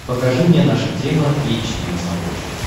покажи мне наша тема эйч ди на смотрешке